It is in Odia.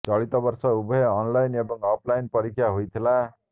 ଚଳିତ ବର୍ଷ ଉଭୟ ଅନ୍ଲାଇନ୍ ଏବଂ ଅଫ୍ ଲାଇନ୍ ପରୀକ୍ଷା ହୋଇଥିଲା